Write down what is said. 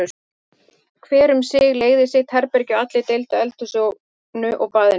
Hver um sig leigði sitt herbergi og allir deildu eldhúsinu og baðinu.